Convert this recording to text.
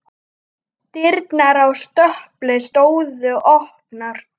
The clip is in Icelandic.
Dyrnar á stöpli stóðu opnar.